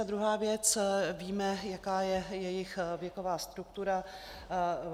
A druhá věc, víme, jaká je jejich věková struktura.